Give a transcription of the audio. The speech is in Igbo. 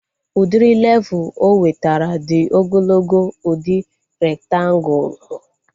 Udiri levul o wetara dị ogologo udi rektangulu